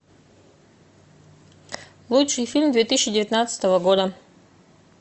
лучший фильм две тысячи девятнадцатого года